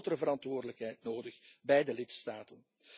Er is een grotere verantwoordelijkheid nodig bij de lidstaten.